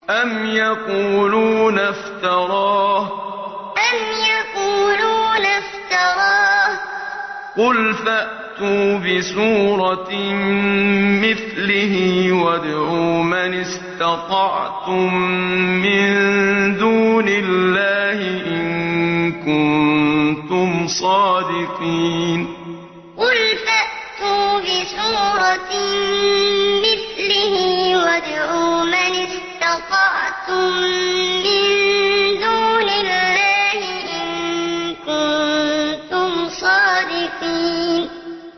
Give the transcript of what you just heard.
أَمْ يَقُولُونَ افْتَرَاهُ ۖ قُلْ فَأْتُوا بِسُورَةٍ مِّثْلِهِ وَادْعُوا مَنِ اسْتَطَعْتُم مِّن دُونِ اللَّهِ إِن كُنتُمْ صَادِقِينَ أَمْ يَقُولُونَ افْتَرَاهُ ۖ قُلْ فَأْتُوا بِسُورَةٍ مِّثْلِهِ وَادْعُوا مَنِ اسْتَطَعْتُم مِّن دُونِ اللَّهِ إِن كُنتُمْ صَادِقِينَ